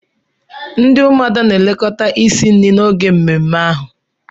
Ndi umuada na-elekọta isi nri n'oge mmemme ahụ.